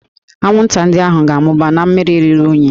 Anwụnta ndị ahụ ga-amụba na mmiri ruru unyi